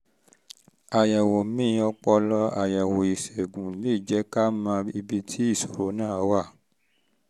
àyẹ̀wò mri ọpọlọ àyẹ̀wò ìṣègùn lè jẹ́ ká mọ ibi tí ibi tí ìṣòro náà wà